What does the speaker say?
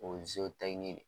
O ye de ye.